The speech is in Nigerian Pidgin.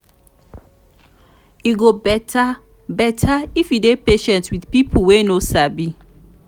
e go better better if you dey patient with pipo wey no sabi.